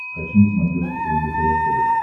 хочу на смотрешке лдпр тв